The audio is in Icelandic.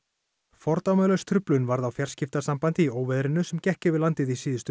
fordæmalaus truflun varð á fjarskiptasambandi í óveðrinu sem gekk yfir landið í síðustu